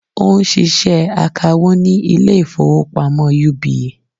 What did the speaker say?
Ó n ṣiṣẹ́ akawó ní Ilé ìfowópamọ́ UBA